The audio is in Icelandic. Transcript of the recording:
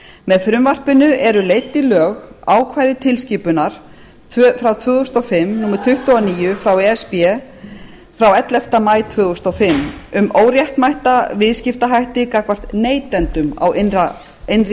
með frumvarpinu eru leidd í lög ákvæði tilskipunar tvö þúsund og fimm tuttugu og níu e s b frá ellefta maí tvö þúsund og fimm um óréttmæta viðskiptahætti gagnvart neytendum á innri